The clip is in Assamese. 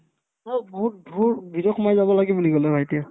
অ', বহুত দূৰ ভিতৰ সোমাই যাব লাগে বুলি ক'লে ভাইটিয়ে